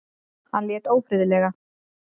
Hann lét ófriðlega.